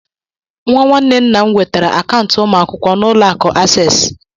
Nwa nwanne nna m nwetara akaụntụ ụmụ akwụkwọ na Ụlọ akụ Access